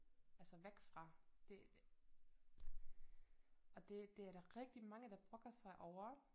Altså væk fra det og det det er der rigtig mange der brokker sig over